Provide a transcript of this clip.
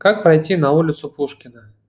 как пройти на улицу пушкина